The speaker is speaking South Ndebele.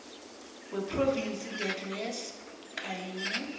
wephrovinsi neadresi kunye